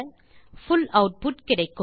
புல் output கிடைக்கும்